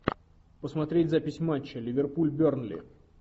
посмотреть запись матча ливерпуль бернли